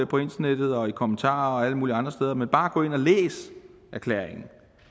på internettet og i kommentarer og alle mulige andre steder men bare gå ind og læs erklæringen